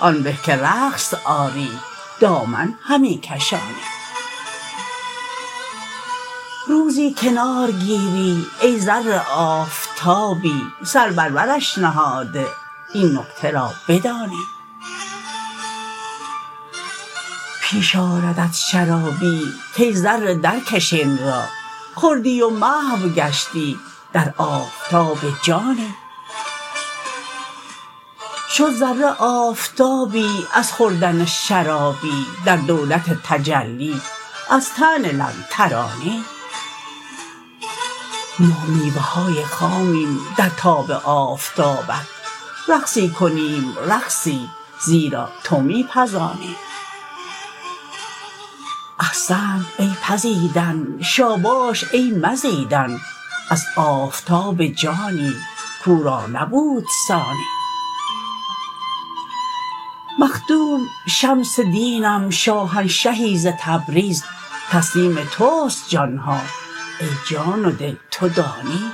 آن به که رقص آری دامن همی کشانی روزی کنار گیری ای ذره آفتابی سر بر برش نهاده این نکته را بدانی پیش آردت شرابی کای ذره درکش این را خوردی و محو گشتی در آفتاب جانی شد ذره آفتابی از خوردن شرابی در دولت تجلی از طعن لن ترانی ما میوه های خامیم در تاب آفتابت رقصی کنیم رقصی زیرا تو می پزانی احسنت ای پزیدن شاباش ای مزیدن از آفتاب جانی کو را نبود ثانی مخدوم شمس دینم شاهنشهی ز تبریز تسلیم توست جان ها ای جان و دل تو دانی